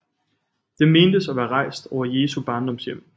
Den mentes at være rejst over Jesu barndomshjem